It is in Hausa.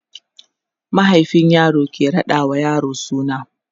mahaifin yaro ke raɗa wa yaro suna